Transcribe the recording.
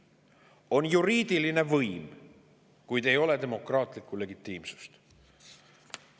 On juriidiline võim, kuid ei ole demokraatlikku legitiimsust.